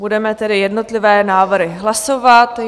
Budeme tedy jednotlivé návrhy hlasovat.